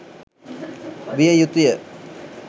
විය යුතුය.